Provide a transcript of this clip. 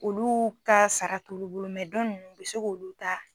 Olu ka sara t'olu bolo dɔ nunnu, u bi se k'olu ta